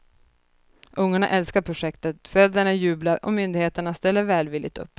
Ungarna älskar projektet, föräldrarna jublar och myndigheterna ställer välvilligt upp.